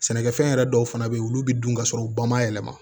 Sɛnɛkɛfɛn yɛrɛ dɔw fana bɛ yen olu bɛ dun ka sɔrɔ u ba ma yɛlɛma